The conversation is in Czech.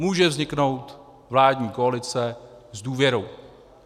Může vzniknout vládní koalice s důvěrou.